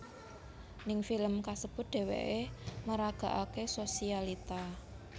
Ning film kasebut dheweké meragakaké sosialita